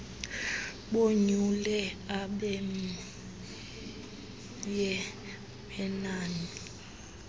bonyule abenmye wenani